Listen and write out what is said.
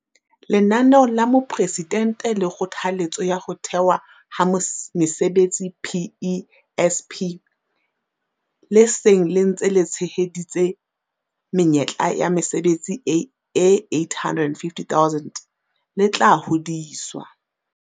Lenaneo la Mopresidente la Kgothaletso ya Ho Thewa ha Mesebetsi PESP, le seng le ntse le tsheheditse menyetla ya mesebetsi e 850 000, le tla hodiswa.